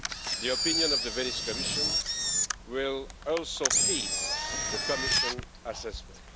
The opinion of the Venice Commission will also feed the Commission assessment.